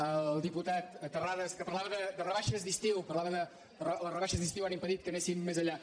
al diputat terrades que parlava de rebaixes d’estiu parlava que les rebaixes d’estiu han impedit que anéssim més enllà